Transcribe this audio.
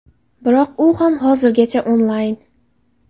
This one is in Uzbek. Biroq u ham hozirgacha onlayn.